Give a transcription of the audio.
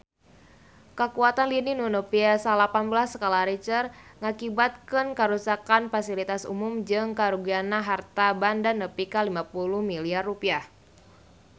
Kakuatan lini nu nepi salapan belas skala Richter ngakibatkeun karuksakan pasilitas umum jeung karugian harta banda nepi ka 50 miliar rupiah